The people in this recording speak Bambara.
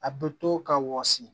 A bɛ to ka wɔsi